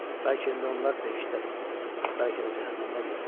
Bəlkə indi onlar behiştdədir, bəlkə də cəhənnəmdədirlər.